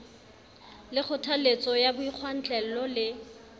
le kgothaletso ya boikgwantlello le